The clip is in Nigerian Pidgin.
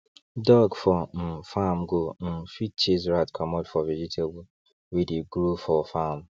dog for um farm go um fit chase rat comot for vegetable wey dey grow for farm